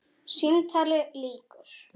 Símtali lýkur.